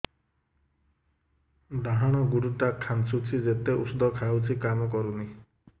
ଡାହାଣ ଗୁଡ଼ ଟା ଖାନ୍ଚୁଚି ଯେତେ ଉଷ୍ଧ ଖାଉଛି କାମ କରୁନି